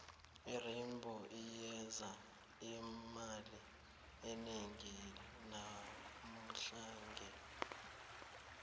irainbow iyenze imali enengi namuhlange